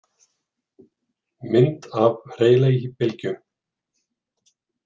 Mynd af Rayleigh-bylgju.